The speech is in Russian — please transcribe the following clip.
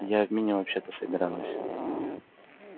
я в меню вообще-то собиралась